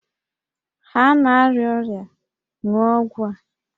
Ha na-arịa ọrịa, ṅụọ ọgwụ a!